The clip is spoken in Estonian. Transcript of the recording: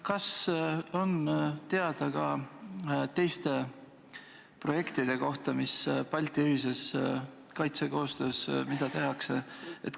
Kas on teada ka teiste projektide kohta, mida Balti ühise kaitsekoostöö raames tehakse?